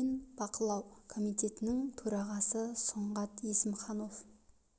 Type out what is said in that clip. мен бақылау комитетінің төрағасы сұңғат есімханов